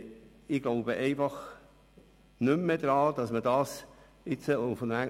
Ich glaube nicht mehr daran, dass man dies noch hinauszögern kann.